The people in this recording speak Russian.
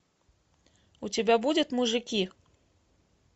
у тебя будет мужики